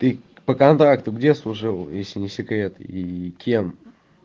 ты по контракту где служил если не секрет и кем